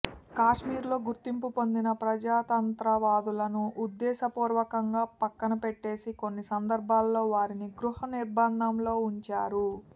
కాశ్మీర్లో గుర్తింపు పొందిన ప్రజాతంత్ర వాదులను ఉద్దేశపూర్వకంగా పక్కన పెట్టేసి కొన్ని సందర్భాలలో వారిని గృహనిర్బంధంలో వుంచారు